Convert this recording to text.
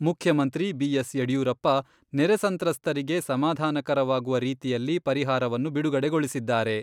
ಮುಖ್ಯಮಂತ್ರಿ ಬಿ.ಎಸ್. ಯಡಿಯೂರಪ್ಪ ನೆರೆ ಸಂತ್ರಸ್ತರಿಗೆ ಸಮಾಧಾನಕರವಾಗುವ ರೀತಿಯಲ್ಲಿ ಪರಿಹಾರವನ್ನು ಬಿಡುಗಡೆಗೊಳಿಸಿದ್ದಾರೆ.